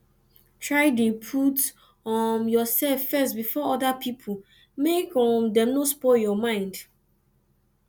try de put um yourself first before other pipo make um dem no spoil your mind